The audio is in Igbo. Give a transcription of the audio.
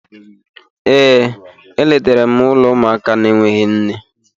Ee, e letara m ụlọ ụmụaka na-enweghị nne.